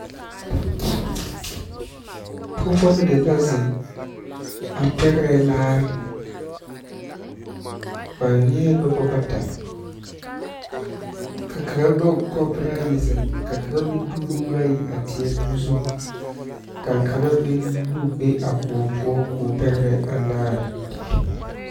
Pɔgeba mine la zeŋ a pɛgrɛ laare ba eɛ noba bata ka kaŋa nyɔge kapore ayi zeŋ ka kaŋa de o nuuri ayi a teɛ o zu ka kaŋa meŋ nu be a koɔ poɔ k'o pɛgrɛ a laare.